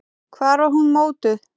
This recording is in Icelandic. Hvar var hún mótuð?